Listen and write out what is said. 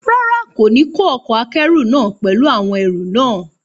Rárá, kò ní kó ọkọ̀-akẹ́rù náà pẹ̀lú àwọn ẹrù náà